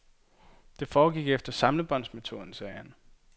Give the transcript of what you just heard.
Det foregik efter samlebåndsmetoden, sagde han.